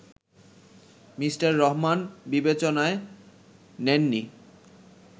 Mr Rahman বিবেচনায় নেন নি